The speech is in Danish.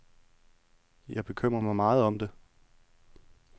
Jeg bekymrer mig meget om det.